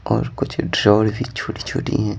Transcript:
और कुछ दड़ोड़ भी छोटी छोटी है।